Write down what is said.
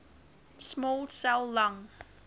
small cell lung